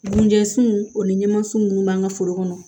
Dunjansunw o ni ɲɛmaasiw minnu b'an ka foro kɔnɔ